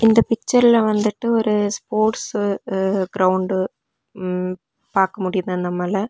இந்த பிச்சர்ல வந்து ஒரு ஸ்போர்ட்ஸ் கிரவுண்ட் ம் பாக்க முடிது நம்மால.